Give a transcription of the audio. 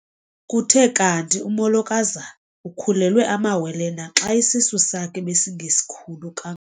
Kuthe kanti umolokazana ukhulelwe amawele naxa isisu sakhe besingesikhulu ka.